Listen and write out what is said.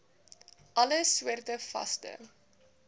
alle soorte vaste